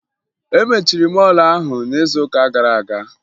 E mechiri mọọlụ ahụ n'izuụka gara aga